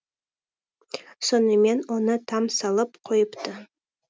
сонымен оны там салып қойыпты